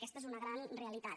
aquesta és una gran realitat